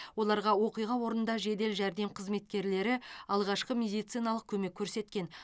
оларға оқиға орнында жедел жәрдем қызметкерлері алғашқы медициналық көмек көрсеткен